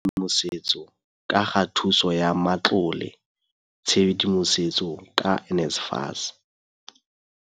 Tshedimosetso ka ga thuso ya matlole, tshedimosetso ka NSFAS.